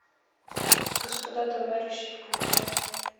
господа товарищи включай